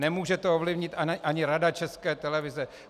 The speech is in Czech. Nemůže to ovlivnit ani Rada České televize.